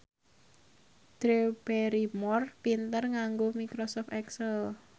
Drew Barrymore pinter nganggo microsoft excel